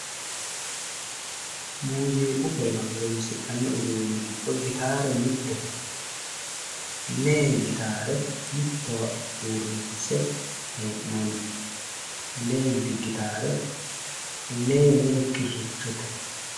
Muuziiqu horora horoonsi'nniri giddo gitaare mittete. lee gitaare mittowa uurrinse hee'noonni. leenti gitaare lee lee kirrichote.